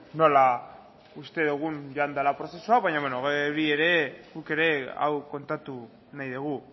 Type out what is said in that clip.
nola uste dugun joan dela prozesua baina hori ere guk ere hau kontatu nahi dugu